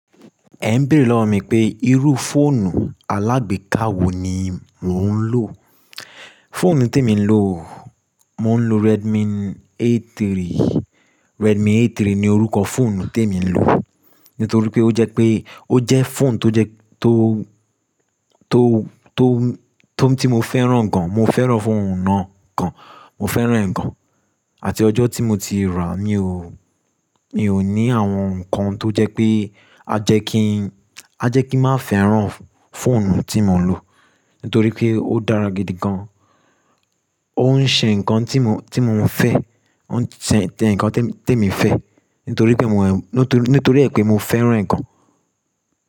Ẹ ń béèrè lọ́wọ́ mi pé irú fóònù alágbèká wo ni mò ń lò. Fóònù tí èmi ń lò, mò ń lo Redmi A3, Redmi A3 ni orúkọ fóònù tí èmi ń lò. Nítorí pé ó jẹ́ pé ó jẹ́ fóònù tó jẹ tó, tó, tó, tó ti mo fẹ́ràn gan, mo fẹ́ràn fóònù náà gan, mo fẹ́ràn ẹ̀ gan. Àti ọjọ́ tí mo ti ràá, mi ò, mi ò ní àwọn nǹkan tó jẹ́ pé a jẹ́ kí, a jẹ́ kí n má fẹ́ràn fóònù tí mò ń lò. Nítorí pé ó dára gidi gan, ó ń ṣe nǹkan tí mò, tí mo ń fẹ́, ó ń ṣe, tẹ nǹkan tí èmi, tí èmi fẹ́. Nítorí pé mò ń, nítorí, nítorí ẹ pé mo fẹ́ràn ẹ̀ gan.